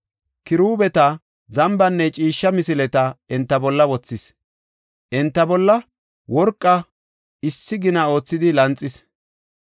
Kiruubeta, zambanne ciishsha misileta enta bolla wothis; enta bolla worqa issi gina oothidi lanxis.